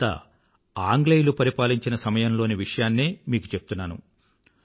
ఇదంతా ఆంగ్లేయుల సమయంలోని విషయాన్నే మీకు చెప్తున్నాను